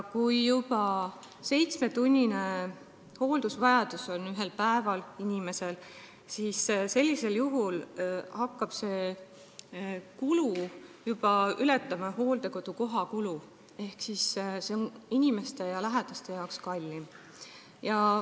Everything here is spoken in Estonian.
Kui inimesel on päevas seitsmetunnise hoolduse vajadus, siis hakkab see kulu ületama juba hooldekodukoha maksumust ehk see on inimesele ja tema lähedastele kallim.